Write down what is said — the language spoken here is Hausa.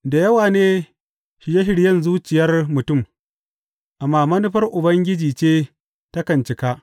Da yawa ne shirye shiryen zuciyar mutum, amma manufar Ubangiji ce takan cika.